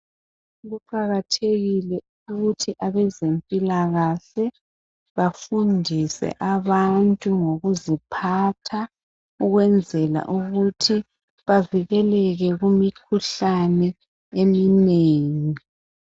Kuqakathekile ukuthi abezempilakahle bafundise abantu ngokuziphatha ukwenzela ukuthi bavikeleke kumikhuhlane eminengi.